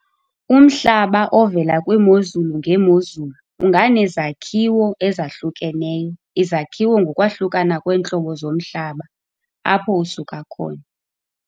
Umhlaba ovela kwiimozulu ngeemozulu unganezakhiwo ezahlukeneyo izakhiwo ngokwahlukana kweentlobo zomhlaba apho usuka khona.